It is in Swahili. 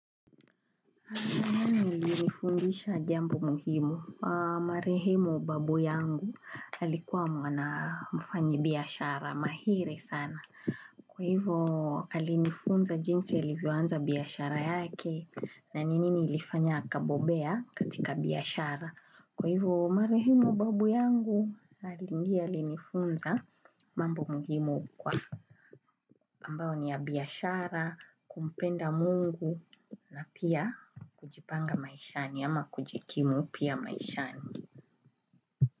Nifundisha jambo muhimu. Marehemu babu yangu alikuwa mwana mfanyabiashara mahiri sana. Kwa hivo alinifunza jinsi alivyoanza biashara yake na nini ilifanya akabobea katika biashara. Kwa hivo Marehemu babu yangu alingi alinifunza mambo muhimu kwa. Ambao ni ya biashara, kumpenda Mungu na pia kujipanga maishani ama kujikimu pia maishani.